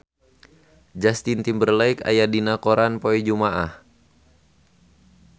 Justin Timberlake aya dina koran poe Jumaah